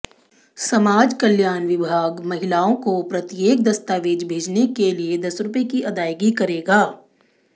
समाज कल्याण विभाग महिलाओं को प्रत्येक दस्तावेज भेजने के लिए दस रुपये की अदायगी करेगा